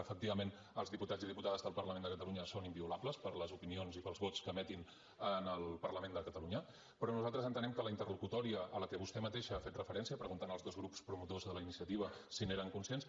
efectivament els diputats i diputades del parlament de catalunya són inviolables per les opinions i pels vots que emetin en el parlament de catalunya però nosaltres entenem que la interlocutòria a què vostè mateixa ha fet referència preguntant als dos grups promotors de la iniciativa si n’eren conscients